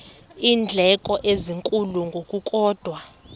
iindleko ezinkulu ngokukodwa